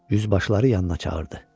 Yüzbaşları yanına çağırdı.